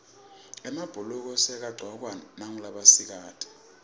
emabhuluko sekayagcokwa ngulabasikati